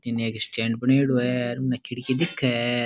इनने एक स्टैंड बनायेडॉ है और उनने खिड़की दिख है।